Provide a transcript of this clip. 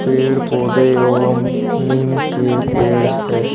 पेड़ पौधे एवं नीम के पेड़ है।